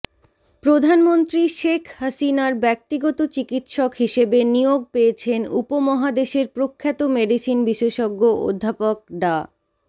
প্রধানমন্ত্রী শেখ হাসিনার ব্যক্তিগত চিকিৎসক হিসেবে নিয়োগ পেয়েছেন উপমহাদেশের প্রখ্যাত মেডিসিন বিশেষজ্ঞ অধ্যাপক ডা